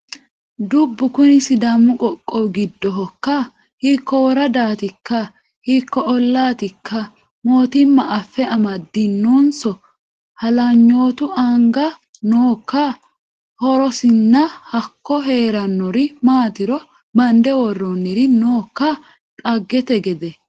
Dubbu kuni sidaamu qoqqowi giddohokka, hiikko woradatikka, hiikko ollatikka mootimma afe amadinonso halanyotu anga nookka, horosinna hakko heeranori maatiro bande worooniri nookka dhaggete gede.